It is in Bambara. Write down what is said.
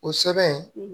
O sɛbɛn